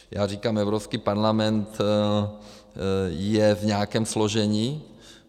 Já říkám, Evropský parlament je v nějakém složení.